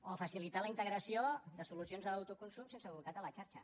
o facilitar la integració de solucions d’autoconsum sense bolcat a la xarxa